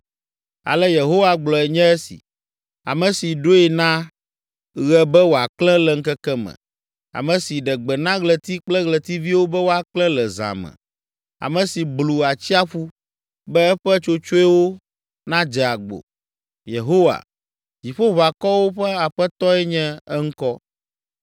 Ale Yehowa gblɔe nye esi, ame si ɖoe na ɣe be wòaklẽ le ŋkeke me, ame si ɖe gbe na ɣleti kple ɣletiviwo be woaklẽ le zã me, ame si blu atsiaƒu be eƒe tsotsoewo nadze agbo, Yehowa, Dziƒoʋakɔwo ƒe Aƒetɔe nye eŋkɔ.